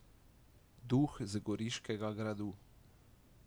Duh z goriškega gradu.